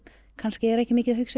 kannski ekki mikið að hugsa